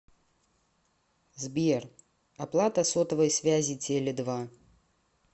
сбер оплата сотовой связи теле два